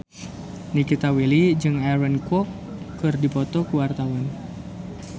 Nikita Willy jeung Aaron Kwok keur dipoto ku wartawan